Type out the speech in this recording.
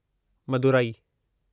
Madurai